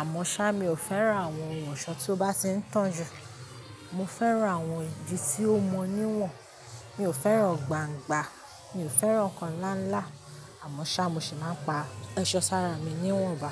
àmọ́ ṣá mi ò fẹ́ràn àwọn ohun ọ̀ṣọ́ tó bá ti ń tàn jù. Mo fẹ́ràn àwọn idi tí ó mọ níwọ̀n, mi ò fẹ́ràn gbàngba, mi ò fẹ́ràn nkan ńlá ńlá, àmọ́ ṣá mo sì máa ń pa èṣọ sára mi níwọ̀nba.